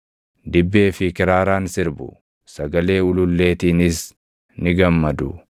Dibbee fi kiraaraan sirbu; sagalee ululleetiinis ni gammadu.